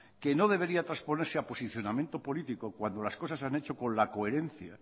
que no debería transponerse a posicionamiento político cuando las cosas se han hecho con la coherencia